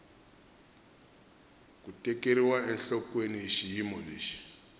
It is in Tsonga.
ku tekeriwa enhlokweni xiyimo lexi